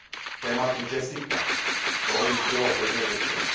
K tématu JESSICA toho již bylo hodně řečeno.